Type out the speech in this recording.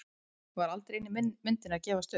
Var aldrei inni í myndinni að gefast upp?